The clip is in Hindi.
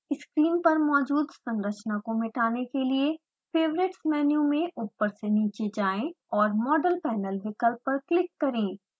स्क्रीन पर मौजूद संरचना को मिटाने के लिए: favorites मेनू में ऊपर से नीचे जाएँ और model panel विकल्प पर क्लिक करें